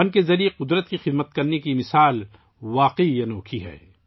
فن کے ذریعے فطرت کی خدمت کی یہ مثال واقعی حیرت انگیز ہے